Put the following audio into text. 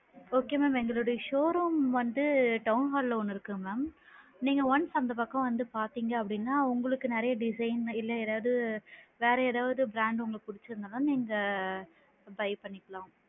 Okay mam எங்களோட showroom வந்து town hall ல ஒன்னு இருக்கு mam நீங்க once அந்த பக்கம் வந்து பாத்திங்க அப்படின்னா உங்களுக்கு நிறைய design இல்ல ஏதாது, வேற ஏதாது brand உங்களுக்கு புடிச்சு இருந்ததுன்னா நீங்க buy பண்ணிக்கலாம்.